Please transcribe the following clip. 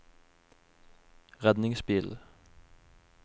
redningsbil